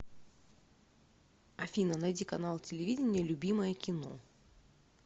афина найди канал телевидения любимое кино